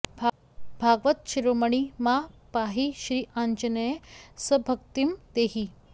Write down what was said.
भागवत शिरोमणि मां पाहि श्री आञ्जनेय सद्भक्तिं देहि